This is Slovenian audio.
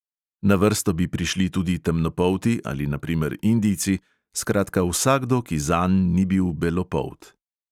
Na vrsto bi prišli tudi temnopolti ali na primer indijci, skratka vsakdo, ki zanj ni bil belopolt.